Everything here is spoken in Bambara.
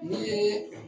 Ne ye